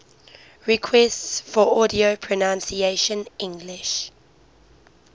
requests for audio pronunciation english